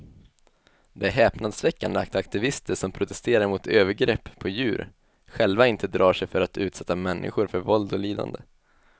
Det är häpnadsväckande att aktivister som protesterar mot övergrepp på djur själva inte drar sig för att utsätta människor för våld och lidande.